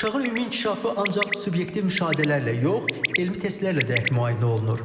Uşağın ümumi inkişafı ancaq subyektiv müşahidələrlə yox, elmi testlərlə dəqiq müayinə olunur.